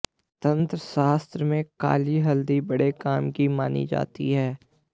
तंत्र शास्त्र में काली हल्दी बड़े काम की मानी जाती है